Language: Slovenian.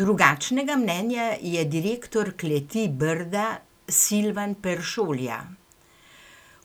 Drugačnega mnenja je direktor Kleti Brda Silvan Peršolja: